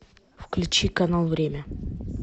включи канал время